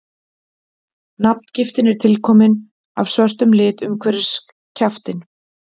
nafngiftin er tilkomin af svörtum lit umhverfis kjaftinn